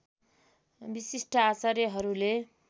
विशिष्ट आचार्यहरूले